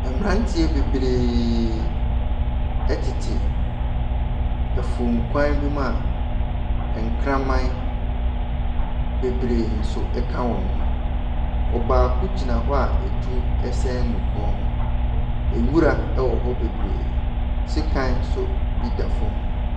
Mmeranteɛ bebree tete afuom kwan bi mu a nkraman bebree nso ka wɔn ho. Ɔbaako gyina hɔ a etuo sɛn ne kɔn ho. Nwura wɔ hɔ bebree. Sekan nso bi da fam.